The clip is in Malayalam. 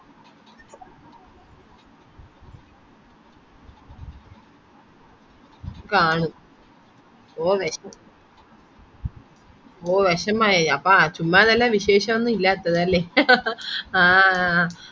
ആണ് ഓ വിഷമം ഓ വിഷമായോ ചുമ്മാതല്ല വിശേഷം ഒന്നുമില്ലാത്തത് അല്ലെ ആഹ്